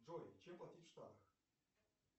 джой чем платить штраф